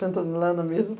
Sentando lá na mesa.